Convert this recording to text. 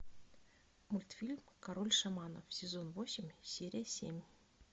мультфильм король шаманов сезон восемь серия семь